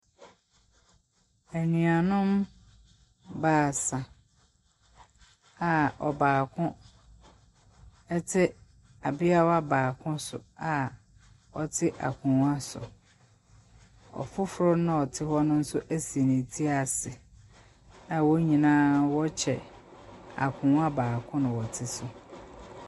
Anuanom baasa a ɔbaako te abeawa baako so a wɔte akonnwa so. Ɔfoforo no a ɔte hɔ no nso asi ne tiri ase a wɔn nyinaa wɔrekyɛ akonnwa baako na wɔte so.